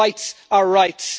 Rights are rights.